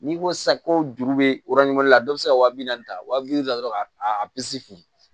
N'i ko sisan ko juru bɛ la dɔ bɛ se ka wa bi naani ta wa bi duuru la dɔrɔn a fili